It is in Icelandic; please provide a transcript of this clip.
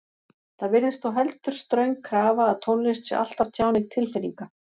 Það virðist þó heldur ströng krafa að tónlist sé alltaf tjáning tilfinninga.